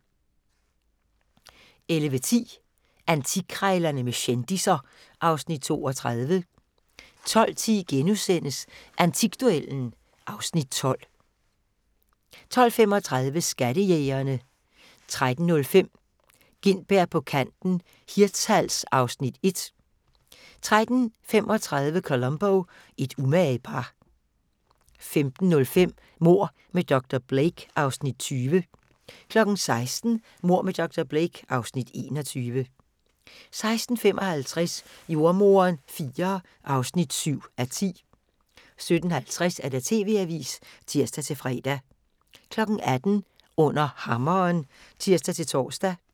11:10: Antikkrejlerne med kendisser (Afs. 32) 12:10: Antikduellen (Afs. 12)* 12:35: Skattejægerne 13:05: Gintberg på kanten - Hirtshals (Afs. 1) 13:35: Columbo: Et umage par 15:05: Mord med dr. Blake (Afs. 20) 16:00: Mord med dr. Blake (Afs. 21) 16:55: Jordemoderen IV (7:10) 17:50: TV-avisen (tir-fre) 18:00: Under hammeren (tir-tor)